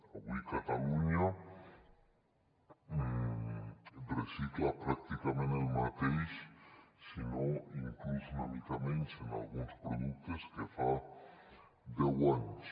avui catalunya recicla pràcticament el mateix si no inclús una mica menys en alguns productes que fa deu anys